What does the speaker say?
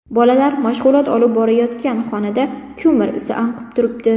Bolalar mashg‘ulot olib borayotgan xonada ko‘mir isi anqib turibdi.